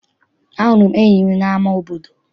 Ahụrụ m enyi m n'ama obodo.